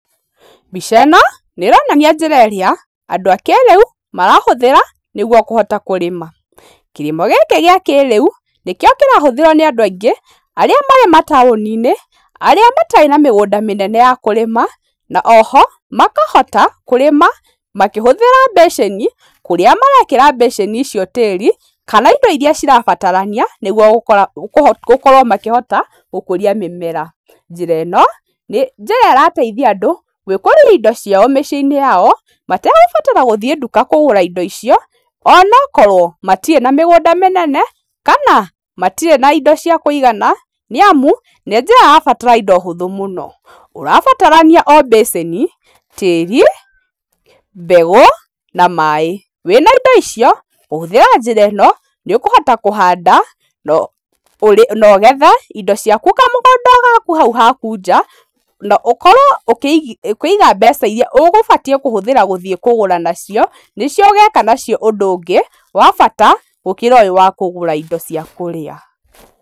Mbica ĩno nĩronania njĩra ĩrĩa andũ a kĩrĩu marahũthĩra nĩguo kũhota kũrĩma. Kĩrĩmo gĩkĩ gĩa kĩrĩu nĩkĩo kĩrahũthĩrwo nĩ andũ aingĩ arĩa marĩ mataũni-inĩ arĩa matarĩ na mĩgũnda mĩnene ya kũrĩma, na o ho makahota kũrĩma makĩhũthĩra beceni, kũrĩa marekĩra beceni icio tĩĩri kana indo iria cirabatarania, nĩguo gũkora, kũho, gũkorwo makĩhota gũkũria mĩmera. Njĩra ĩno, nĩ njĩra ĩrateithia andũ gwĩkũrĩria indo ciao mĩciĩ-inĩ yao mategũbatara gũthiĩ nduka kũgũra indo icio onokorwo matirĩ na mĩgũnda mĩnene, kana matirĩ na indo cia kũigana, nĩamu nĩ njĩra ĩrabatara indo hũthũ mũno. Ũrabatarania o beceni, tĩĩri, mbegũ na maaĩ. Wĩna indo icio ũhũthĩra njĩra ĩno nĩ ũkũhota kũhanda no ũrĩ, nogethe indo ciaku kamũgũnda o gaku hau haku nja, na ũkorwo ũkĩigi, ukĩiga mbeca iria ũgũbatiĩ kũhũthĩra gũthiĩ kũgũra nacio, nĩcio ũgeka nacio ũndũ ũngĩ wa bata gũkĩra ũyũ wa kũgũra indo cia kũrĩa.